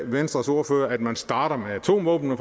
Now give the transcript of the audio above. venstres ordfører at man starter med atomvåbnene